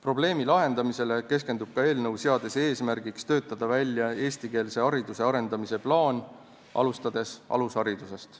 Probleemi lahendamisele keskendub ka eelnõu, mis seab eesmärgiks töötada välja eestikeelse hariduse arendamise plaan, alustades alusharidusest.